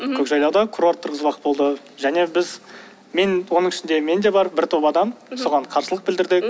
көкжайлауда курорт тұрғызбақ болды және біз мен оның ішінде мен де бар бір топ адам соған қарсылық білдірдік